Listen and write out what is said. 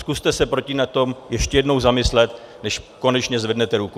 Zkuste se nad tím ještě jednou zamyslet, než konečně zvednete ruku.